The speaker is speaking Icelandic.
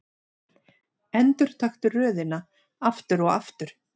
Endurtaktu röðina aftur og aftur.